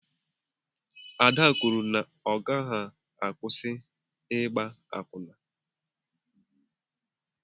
Ada kwụrụ na ọ gaghị akwusi ịgba akwụna.